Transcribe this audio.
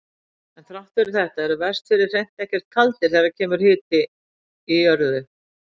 En þrátt fyrir þetta eru Vestfirðir hreint ekki kaldir þegar kemur að hita í jörðu.